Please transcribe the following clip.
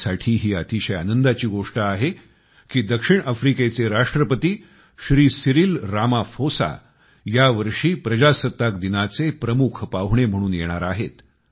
आपल्यासाठी ही अतिशय आनंदाची गोष्ट आहे की दक्षिण आफ्रिकेचे राष्ट्रपती श्री सिरील रामाफोसा यावर्षी गणराज्य दिवसाचे प्रमुख पाहुणे म्हणून येणार आहेत